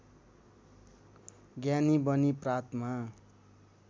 ज्ञानी बनी प्रातमा